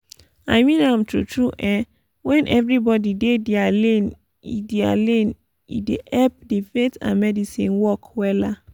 imean am tru tru eh wen everybodi dey dia lane e dia lane e dey epp di faith and medicine work wella